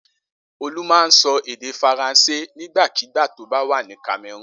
Olú máa ń sọ èdè Faransé nígbàkigbà tó bá wà ní Cameroon.